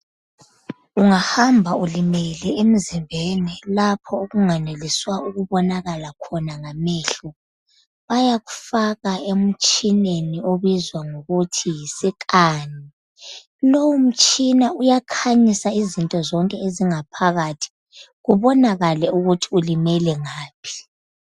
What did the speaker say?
Ungahamba ulimele emzimbeni lapho okunganeliswa khona ukubona ngamehlo bayakufaka emtshineni obizwa ngokuthi yi scan. Lowu mtshina uyakhanyisa izinto zonke ezingaphakathi kubonakale ukuthi ulimele ngaphi.